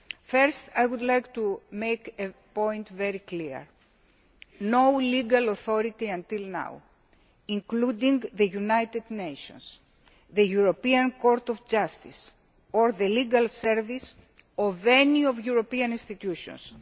First I would like to make one point very clear no legal authority until now including the United Nations, the European Court of Justice or the Legal Service of any of the EU institutions